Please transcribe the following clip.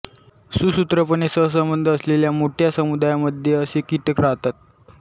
सुसूत्रपणे सहसंबंध असलेल्या मोठ्या समुदायामध्ये असे कीटक राहतात